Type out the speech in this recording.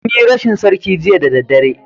Mun yi rashin sarki Jiya da daddare